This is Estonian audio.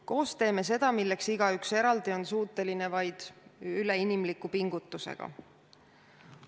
Koos teeme seda, milleks igaüks eraldi on suuteline vaid üleinimliku pingutusega.